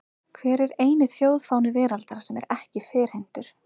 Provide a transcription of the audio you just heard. Hver er eini þjóðfáni veraldar sem er ekki ferhyrndur?